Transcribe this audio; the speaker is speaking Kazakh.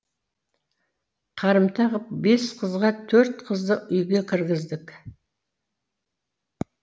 қарымта ғып бес қызға төрт қызды үйге кіргіздік